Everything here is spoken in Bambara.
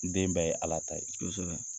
Den bɛɛ ye Ala ta ye. Kosɛbɛ.